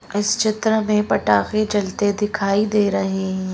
इस चित्र में पटाखे जलते दिखाई दे रहे हैं।